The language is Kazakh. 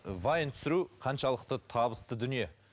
вайн түсіру қаншалықты табысты дүние